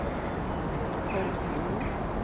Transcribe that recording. Foldfjorden